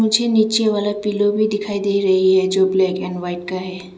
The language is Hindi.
नीचे वाला पिलो भी दिखाई दे रही है जो ब्लैक एंड व्हाइट का है।